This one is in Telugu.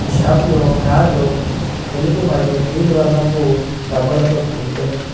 ఈ షాపులో మ్యాటు తెలుపు మరియు నీలి వర్ణపు డబ్బాలలో కూడుకొని ఉంది.